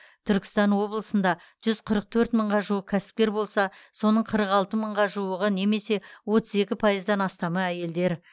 түркістан облысында жүз қырық төрт мыңға жуық кәсіпкер бар болса соның қырық алты мыңға жуығы немесе отыз екі пайыздан астамы әйелдер